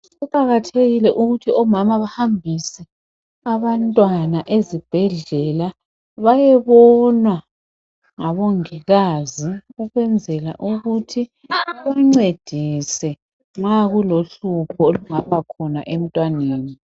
kuqakathekile ukuthi omama bahambise abantwana ezibhedlela bayebonwa ngabongikazi ukwenzela bamncedise nxa kulohlupho olungabakhona emntwaneni